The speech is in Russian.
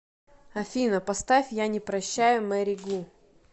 афина поставь я не прощаю мэри гу